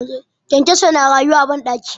kyankyaso na rayuwa a banɗaki